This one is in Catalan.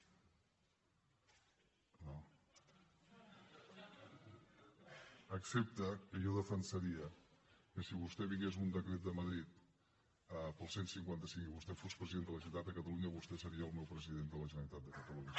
excepte que jo defensaria que si vingués un decret de madrid pel cent i cinquanta cinc i vostè fos president de la generalitat de catalunya vostè seria el meu president de la generalitat de catalunya